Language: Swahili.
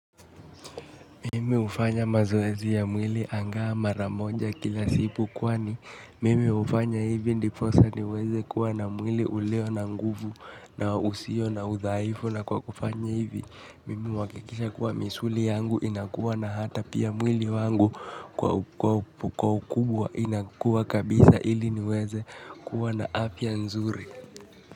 Mimi hufanya mazoezi ya mwili anga maramoja kila siku kwani. Mimi hufanya hivi ndiposa niweze kuwa na mwili ulio na nguvu na usio na udhaifu na kwa kufanya hivi. Mimihu hakikisha kuwa misuli yangu inakuwa na hata pia mwili wangu kwa ukubwa inakuwa kabisa ili niweze kuwa na afya nzuri.